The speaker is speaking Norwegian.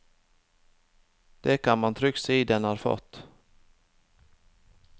Det kan man trygt si den har fått.